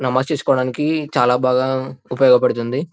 నమాజ్ చేసుకోవడానికి చాలా బాగా ఉపయోగపడుతుంది --